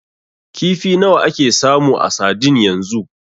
Kifi nawa ake samu a sadin yanzu?